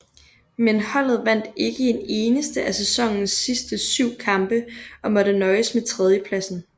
Men holdet vandt ikke en eneste af sæsonens sidste syv kampe og måtte nøjes med tredjepladsen